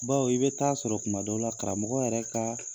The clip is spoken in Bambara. Baw i bɛ taa sɔrɔ tuma dɔ la karamɔgɔ yɛrɛ ka